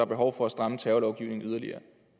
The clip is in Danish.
behov for at stramme terrorlovgivningen yderligere